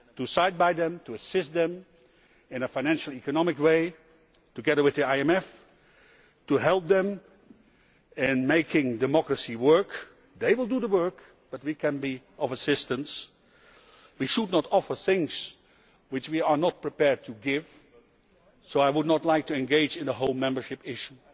can side with them, assist them financially and economically, together with the IMF, help them in making democracy work they will do the work but we can be of assistance. We should not offer things which we are not prepared to give, so I would not like to engage in the whole membership issue,